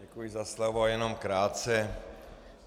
Děkuji za slovo, jenom krátce.